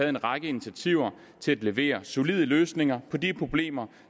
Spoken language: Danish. en række initiativer til at levere solide løsninger på de problemer